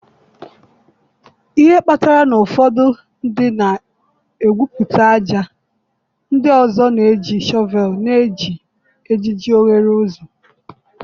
Ihe kpatara na ụfọdụ ndị na-egwupụta ájá, ndị ọzọ na-eji shọvelu na-eji ejiji oghere ụzọ